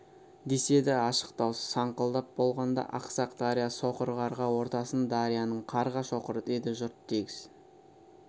деседі ашық даусы саңқылдап болғанда ақсақ дария соқыр қарға ортасын дарияның қарға шоқыр деді жұрт тегіс